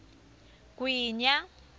gwinya